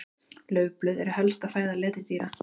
Laufblöð eru helsta fæða letidýra.